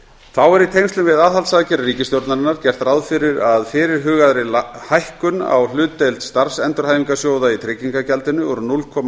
þá er í tengslum við aðhaldsaðgerðir ríkisstjórnarinnar gert ráð fyrir að fyrirhugaðri hækkun á hlutdeild starfsendurhæfingarsjóða í tryggingagjaldinu úr núll komma